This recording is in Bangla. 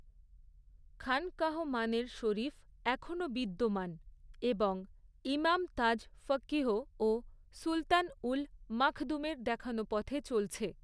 খানকাহ মানের শরীফ এখনও বিদ্যমান এবং ইমাম তাজ ফকীহ ও সুলতান উল মাখদূমের দেখানো পথে চলছে।